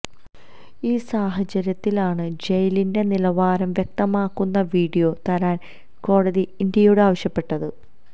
ഈ സാഹചര്യത്തിലാണ് ജയിലിന്റെ നിലവാരം വ്യക്തമാക്കുന്ന വീഡിയോ തരാന് കോടതി ഇന്ത്യയോട് ആവശ്യപ്പെട്ടത്